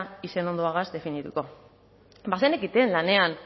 izenondoarekin definituko bazenekiten lanean